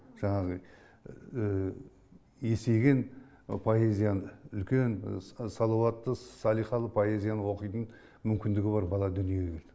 жаңағы есейген поэзияны үлкен салауатты салиқалы поэзияны оқитын мүмкіндігі бар бала дүниеге келді